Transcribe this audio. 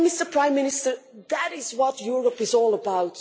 Prime Minister, that is what Europe is all about.